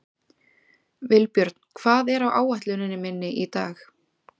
Vilbjörn, hvað er á áætluninni minni í dag?